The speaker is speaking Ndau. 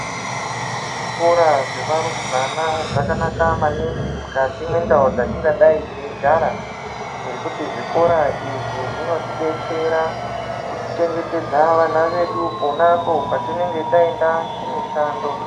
Zvikora zvevarumbwana zvakanaka maningi mukati mwendau dzetingadai teigara ngekuti zvikora izvi zvinotidetsera kutichengetedzera vana vedu pona apo patinenge taenda kumushando.